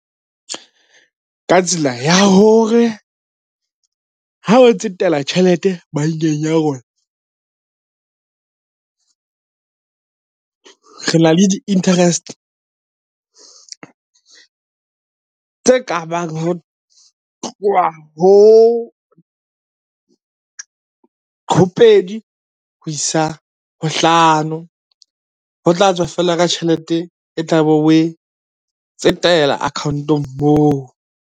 Ka tsela ya hore, ha o tsetela tjhelete bankeng ya rona re na le di-interest tse ka bang ho tloha ho pedi ho isa ho hlano, ho tla tswa feela ka tjhelete e tla be oe tsetela account-ong moo.